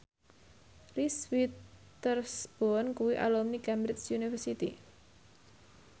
Reese Witherspoon kuwi alumni Cambridge University